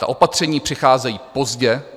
Ta opatření přicházejí pozdě.